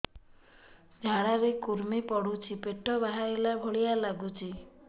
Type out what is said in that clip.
ଝାଡା ରେ କୁର୍ମି ପଡୁଛି ପେଟ ବାହାରିଲା ଭଳିଆ ଲାଗୁଚି